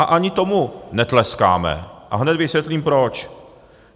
A ani tomu netleskáme a hned vysvětlím proč.